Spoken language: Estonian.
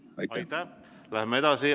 Läheme edasi.